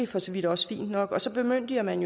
for så vidt også fint nok så bemyndiger man